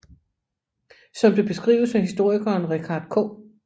Som det beskrives af historikeren Richard K